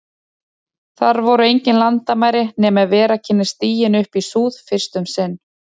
Þar voru engin landamæri, nema ef vera kynni stiginn upp í súð- fyrst um sinn.